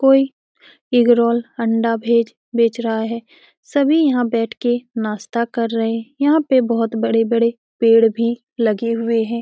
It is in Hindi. कोई एग रोल अंडा वेज बेच रहा हैं सभी यहां बैठ के नाश्ता कर रहे हैं यहां पे बहुत ही बड़े-बड़े पेड़ भी लगे हुए हैं।